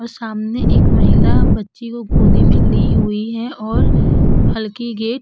और सामने एक महिला बच्ची को गोदी में ली हुइ है और हल्की गेट --